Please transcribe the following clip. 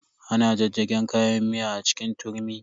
Ana jajjagen kayan miya a cikin turmi.